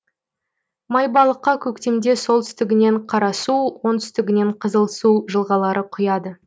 майбалыққа көктемде солтүстігінен қарасу оңтүстігінен қызылсу жылғалары құяды